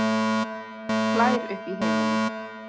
Hlær upp í himininn.